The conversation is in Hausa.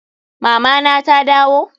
Mama na ta dawo?